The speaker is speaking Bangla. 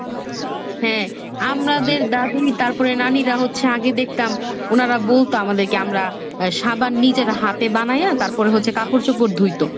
হ্যাঁ আমাদের দাদী তারপরে নানীরা হচ্ছে আগে দেখতাম ওনারা বলতো আমাদেরকে আমরা আহ সাবান নিজের হাতে বানাইয়া তারপরে হচ্ছে কাপড় চোপড় ধুইতো।